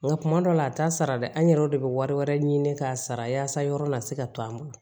Nka kuma dɔw la a t'a sara dɛ an yɛrɛw de bɛ wari wɛrɛ ɲini k'a sara yaasa yɔrɔ la se ka to an bolo